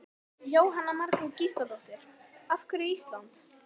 Jóhanna Margrét Gísladóttir: Af hverju Ísland?